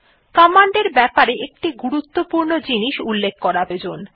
command এর ব্যাপারে একটি গুরুত্বপূর্ণ জিনিস উল্লেখ করা প্রয়োজন